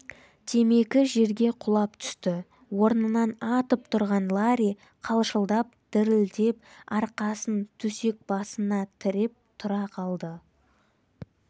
темекі жерге құлап түсті орнынан атып тұрған ларри қалшылдап-дірілдеп арқасын төсек басына тіреп тұра қалды